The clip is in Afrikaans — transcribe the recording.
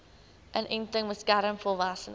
inenting beskerm volwassenes